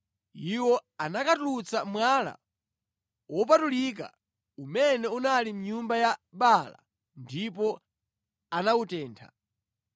Iwo anakatulutsa mwala wopatulika umene unali mʼnyumba ya Baala ndipo anawutentha.